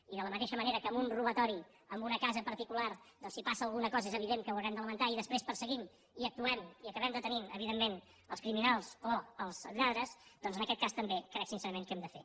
i de la mateixa manera que en un robatori en una casa particular doncs si passa alguna cosa és evident que ho haurem de lamentar i després perseguim i actuem i acabem detenint evidentment els criminals o els lladres doncs en aquest cas també crec sincerament que ho hem de fer